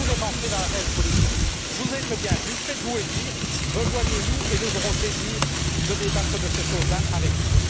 Si vous voulez entrer dans l'arène politique, vous êtes le bienvenu, faites vous élire, rejoignez nous et nous aurons le plaisir de débattre de ces choses là avec vous.